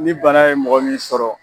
Ni bana ye mɔgɔ min sɔrɔ